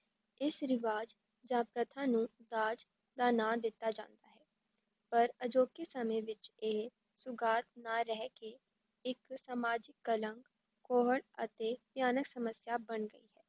ਇਸ ਰਿਵਾਜ਼ ਜਾਂ ਪ੍ਰਥਾ ਨੂੰ ਦਾਜ ਦਾ ਨਾਂ ਦਿੱਤਾ ਜਾਂਦਾ ਹੈ ਪਰ ਅਜੋਕੇ ਸਮੇਂ ਵਿੱਚ ਇਹ ਸੁਗਾਤ ਨਾ ਰਹਿ ਕੇ ਇੱਕ ਸਮਾਜਿਕ ਕਲੰਕ, ਕੋਹੜ ਅਤੇ ਭਿਆਨਕ ਸਮੱਸਿਆ ਬਣ ਗਈ ਹੈ।